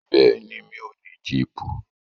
Bẹ́ẹ̀ni, mi ò ní jíìpù.